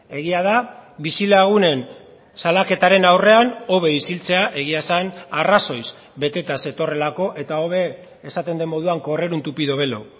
egia da bizilagunen salaketaren aurrean hobe isiltzea egia esan arrazoiz beteta zetorrelako eta hobe esaten den moduan correr un tupido velo